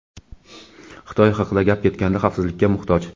Xitoy haqida gap ketganda xavfsizlikka muhtoj.